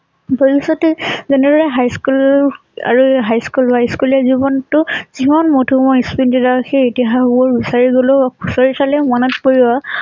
ভৱিষ্যতে যেনেদৰে high school আৰু high school high school য়া জীৱন টো যিমান মোধুময় সেই ইতিহাস বোৰ বিচাৰি গলে ও বিচাৰি চলেও মনত পৰিব।